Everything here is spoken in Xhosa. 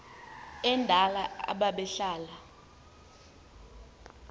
endala aba behlala